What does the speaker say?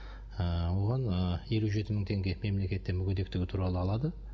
ы оған ы елу жеті мың теңге мемлекеттен мүгедектігі туралы алады